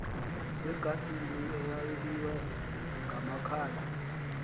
egadini eyayibiywe ngamakhala